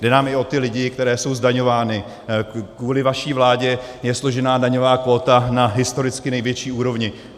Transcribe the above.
Jde nám i o ty lidi, kteří jsou zdaňováni, kvůli vaší vládě je složena daňová kvóta na historicky největší úrovni.